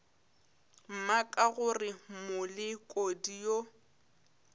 mma ka gore molekodi yo